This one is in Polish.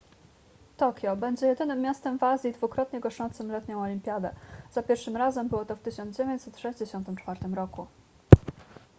tokio będzie jedynym miastem w azji dwukrotnie goszczącym letnią olimpiadę za pierwszym razem było to w 1964 roku